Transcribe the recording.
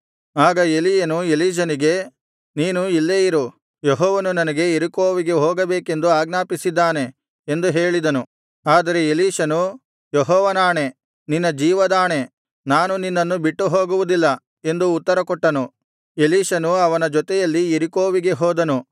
ಆಗ ಎಲೀಯನು ಎಲೀಷನಿಗೆ ನೀನು ಇಲ್ಲೇ ಇರು ಯೆಹೋವನು ನನಗೆ ಯೆರಿಕೋವಿಗೆ ಹೋಗಬೇಕೆಂದು ಆಜ್ಞಾಪಿಸಿದ್ದಾನೆ ಎಂದು ಹೇಳಿದನು ಆದರೆ ಎಲೀಷನು ಯೆಹೋವನಾಣೆ ನಿನ್ನ ಜೀವದಾಣೆ ನಾನು ನಿನ್ನನ್ನು ಬಿಟ್ಟು ಹೋಗುವುದಿಲ್ಲ ಎಂದು ಉತ್ತರ ಕೊಟ್ಟನು ಎಲೀಷನು ಅವನ ಜೊತೆಯಲ್ಲಿ ಯೆರಿಕೋವಿಗೆ ಹೋದನು